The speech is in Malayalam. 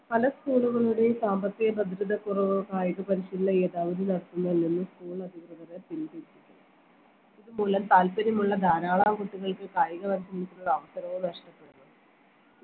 പല school കളുടെയും സാമ്പത്തിക ഭദ്രതക്കുറവ് കായിക പരിശീലന യഥാവിധി നടത്തുന്നില്ലെന്ന് school അധികൃതരെ പിന്തിരിപ്പിച്ചു ഇത് മൂലം താല്പര്യമുള്ള ധാരാളം കുട്ടികൾക്ക് കായിക പരിശീലനത്തിനുള്ള ഒരു അവസരവും നഷ്ടപ്പെടുന്നു